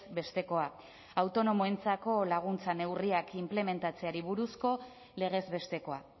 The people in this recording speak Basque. bestekoa autonomoentzako laguntza neurriak inplementatzeari buruzko legez bestekoa